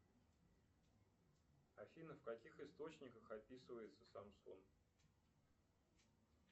афина в каких источниках описывается самсунг